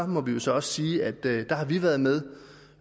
må vi jo så også sige at der har vi været med